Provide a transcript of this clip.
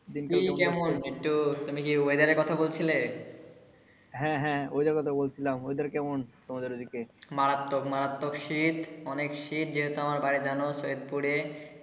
কি কেমন তুমি কি weather এর কথা বলছিলে? হ্যা হ্যা weather এর কথা বলছিলাম। weather কেমন তোমাদের ওই দিকে? মারাত্মক মারাত্মক শীত অনেক শীত যেহেতু আমার বাড়ি জানো সৈয়দপুরে।